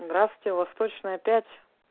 здравствуйте восточная пять